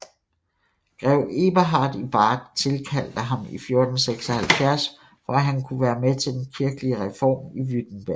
Grev Eberhard i Bart tilkaldte ham i 1476 for at han kunne være med til den kirkelige reform i Württemberg